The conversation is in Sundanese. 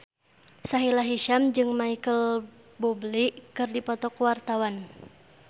Sahila Hisyam jeung Micheal Bubble keur dipoto ku wartawan